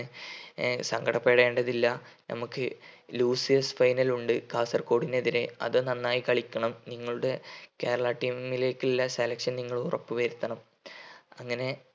ഏർ സങ്കടപെടേണ്ടതില്ല നമുക്ക് losers final ഉണ്ട് കാസർകോഡിനെതിരെ അത് നന്നായി കളിക്കണം നിങ്ങളുടെ കേരള team ലേക്കില്ലേ selection നിങ്ങൾ ഉറപ്പുവരുത്തണം അങ്ങനെയാണ്